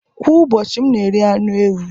Kwa ụbọchị, m na-eri anụ ewu